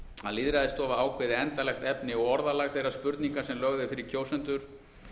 að lýðræðisstofa ákveði endanlegt efni og orðalag þeirrar spurningar sem lögð er fyrir kjósendur